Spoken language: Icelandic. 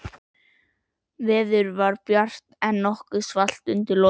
Veður var bjart, en nokkuð svalt undir lokin.